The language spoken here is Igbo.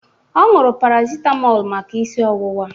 Ọ ñụrụ parasịtamọl maka isi ọwụwa.